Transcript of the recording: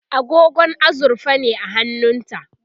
agogo azurfa ne a hannunta